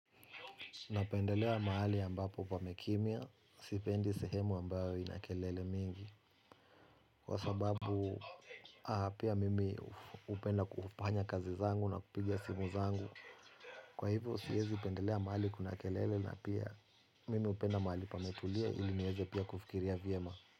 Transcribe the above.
Napendelea mahali ambapo pamekimya, sipendi sehemu ambayo ina kelele mingi. Kwa sababu pia mimi hupenda kufanya kazi zangu na kupigia simu zangu. Kwa hivo siwezi pendelea mahali kuna kelele na pia mimi hupenda mahali pametulia ili niweze pia kufikiria vyema.